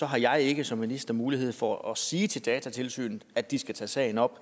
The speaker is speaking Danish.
har jeg ikke som minister mulighed for at sige til datatilsynet at de skal tage sagen op og